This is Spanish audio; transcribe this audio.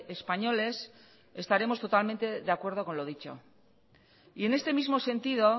españoles estaremos totalmente de acuerdo con lo dicho y en este mismo sentido